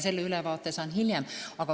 Selle ülevaate saan hiljem.